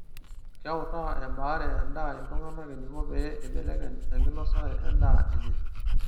keutaa ebaare edaa iltungana eniko pee eibelekeny enkinosare edaa enye